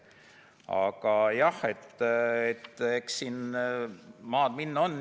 Aga jah, eks siin maad minna on.